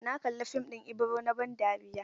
Na kalla fim ɗin Ibro na ban dariya.